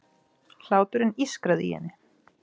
Hláturinn ískraði í henni.